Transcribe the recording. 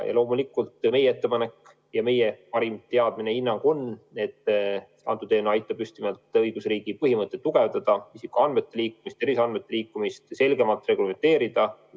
Ja loomulikult meie parim teadmine, hinnang on, et see eelnõu aitab just nimelt õigusriigi põhimõtteid tugevdada, isikuandmete liikumist, terviseandmete liikumist selgemalt reglementeerida.